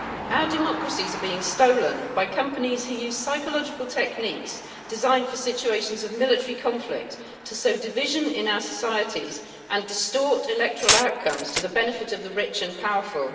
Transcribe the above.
Our democracies are being stolen by companies who use psychological techniques designed for situations of military conflict to sow division in our societies and distort electoral outcomes to the benefit of the rich and powerful.